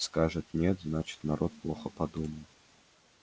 скажет нет значит народ плохо подумал